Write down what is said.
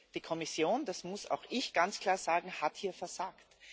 Die Kommission das muss auch ich ganz klar sagen hat hier versagt.